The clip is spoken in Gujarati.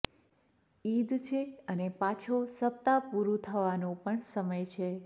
ઈદ છે અને પાછો સપ્તાહ પૂરું થવાનો સમય પણ છે